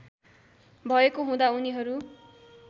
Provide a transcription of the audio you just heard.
भएको हुँदा उनीहरू